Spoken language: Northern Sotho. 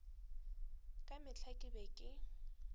ka mehla ke be ke